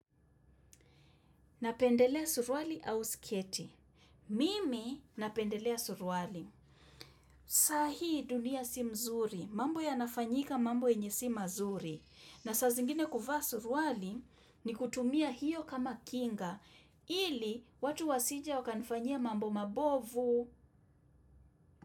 Napendelea suruali iau siketi. Mimi napendelea suruali. Sa hii dunia si mzuri. Mambo yanafanyika mambo yenye si mazuri. Na saa zingine kuvaa suruali ni kutumia hiyo kama kinga. Ili watu wasije wakanifanyia mambo mabovu.